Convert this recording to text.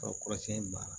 kɔrɔsɛn in banna